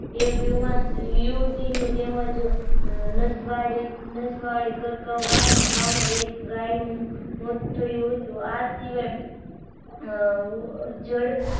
એક યુવા યુવતીનુ તેમજ મોત નસવાડી કર્કવાની ગામે એક ગાય નું મોત થયું હતું. આ સિવાય. હ જડ